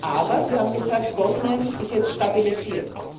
Aber Sie haben gesagt, Bosnien sei jetzt stabilisiert.